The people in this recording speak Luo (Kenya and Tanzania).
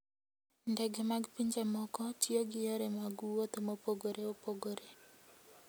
Ndege mag pinje moko tiyo gi yore mag wuoth mopogore opogore.